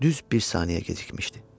Düz bir saniyə gecikmişdi.